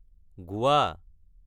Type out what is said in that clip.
গোৱা